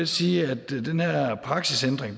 sige at den her praksisændring